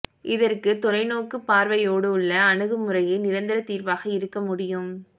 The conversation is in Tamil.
இதற்கு தொலைநோக்குப் பார்வையோடுள்ள அணுகுமுறையே நிரந்தரத் தீர்வாக இருக்க முடியும்